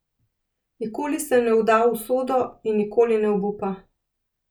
Nikoli se ne vda v usodo in nikoli ne obupa.